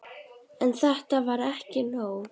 En þetta var ekki nóg.